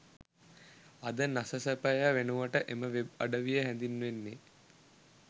අද නසසපය වෙනුවට එම වෙබ් අඩවිය හැදින්වෙන්නේ